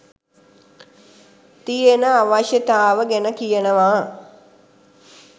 තියෙන අවශ්‍යතාව ගැනකියනවා.